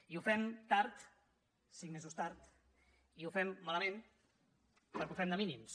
i ho fem tard cinc mesos tard i ho fem malament perquè ho fem de mínims